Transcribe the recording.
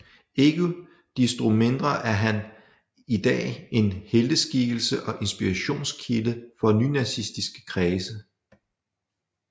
Ikke desto mindre er han i dag en helteskikkelse og inspirationskilde for nynazistiske kredse